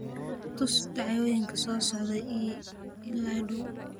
tus dhacdooyinka soo socda ee ii dhow